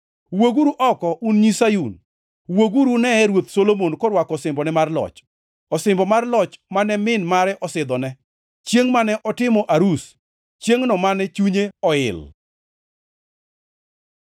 Wuoguru oko, un nyi Sayun, wuoguru uneye Ruoth Solomon korwako osimbone mar loch, osimbo mar loch mane min mare osidhone, chiengʼ mane otimo arus, chiengʼno mane chunye oil.